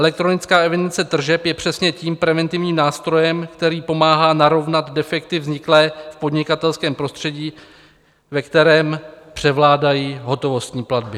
Elektronická evidence tržeb je přesně tím preventivním nástrojem, který pomáhá narovnat defekty vzniklé v podnikatelském prostředí, ve kterém převládají hotovostní platby.